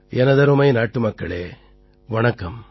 எனதருமை நாட்டுமக்களே வணக்கம்